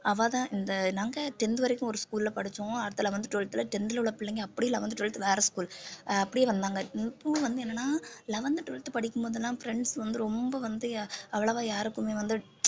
அவ தான் இந்த நாங்க tenth வரைக்கும் ஒரு school ல படிச்சோம் அதில வந்து twelfth ல tenth ல உள்ள பிள்ளைங்க அப்படி எல்லாம் வந்து eleventh twelfth வேற school அஹ் அப்படியே வந்தாங்க இப்பவும் வந்து என்னன்னா eleventh twelfth படிக்கும் போதெல்லாம் friends வந்து ரொம்ப வந்து அவ்வளவா யாருக்குமே வந்து